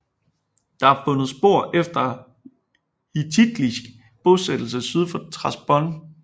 Der er fundet spor efter en hittittisk bosættelse syd for Trabzon